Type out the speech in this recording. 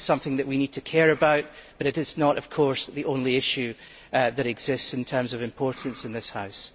It is something that we need to care about but it is not, of course, the only issue that exists in terms of importance in this House.